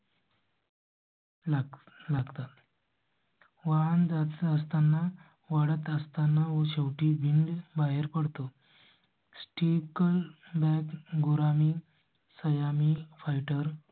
लागतात. वाहन जात असताना वळत असताना व शेवटी भिंड बाहेर पडतो. sticker लाइव्ह मी सयामी फायटर fighter.